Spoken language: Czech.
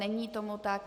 Není tomu tak.